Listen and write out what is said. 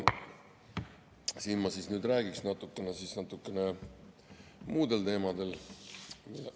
Ma nüüd räägiks natukene muul teemal.